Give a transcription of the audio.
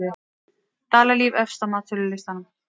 Dalalíf efst á metsölulistann